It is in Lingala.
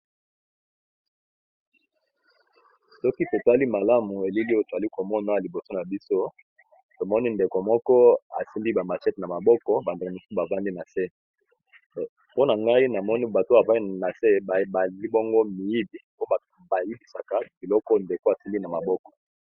Soki totali malamu elili etwali komona liboso na biso tomoni ndeko moko asindi bamachete na maboko bandeo mosus bavandi na se mpona ngai namoni bato avani na se alibongo miidi po bayibisaka biloko ndeko asili na maboko.